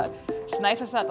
Snæfellsness